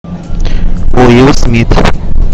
уилл смит